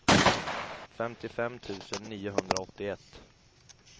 femtiofem tusen niohundraåttioett